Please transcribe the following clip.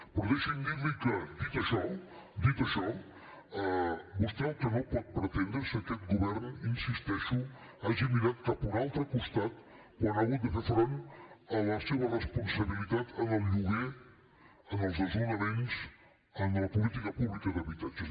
però deixi’m dir li que dit això dit això vostè el que no pot pretendre és que aquest govern hi insisteixo hagi mirat cap a un altre costat quan ha hagut de fer front a la seva responsabilitat en el lloguer en els desnonaments en la política pública d’habitatges